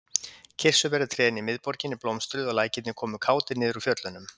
Kirsuberjatrén í miðborginni blómstruðu og lækirnir komu kátir niður úr fjöllunum.